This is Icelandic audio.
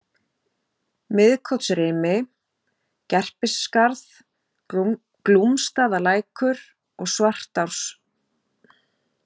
Miðkotsrimi, Gerpisskarð, Glúmsstaðalækur, Svartáskvísl